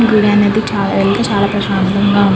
గుడి అనేది చా చాలా ప్రశాంతంగా ఉన్నది.